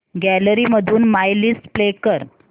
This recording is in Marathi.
गॅलरी मधून माय लिस्ट प्ले कर